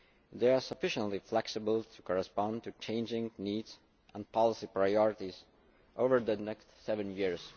They are sufficiently flexible to correspond to changing needs and policy priorities over the next seven years.